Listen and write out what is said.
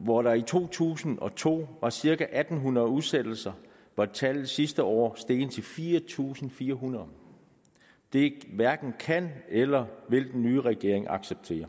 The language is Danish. hvor der i to tusind og to var cirka en hundrede udsættelser var tallet sidste år steget til fire tusind fire hundrede det hverken kan eller vil den nye regering acceptere